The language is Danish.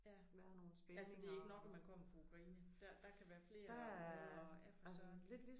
Ja ja så det ikke nok at man kommer fra Ukraine der der kan være flere områder ja for Søren